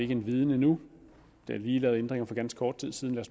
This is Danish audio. den viden endnu der er lige lavet ændringer for ganske kort tid siden